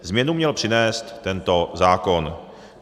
Změnu měl přinést tento zákon.